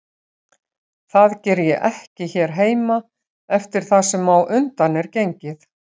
Það geri ég ekki hér heima eftir það sem á undan er gengið.